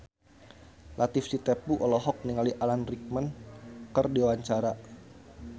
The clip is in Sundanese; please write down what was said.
Latief Sitepu olohok ningali Alan Rickman keur diwawancara